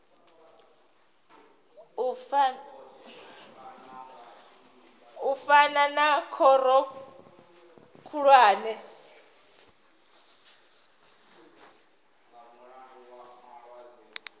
u fana na khoro khulwane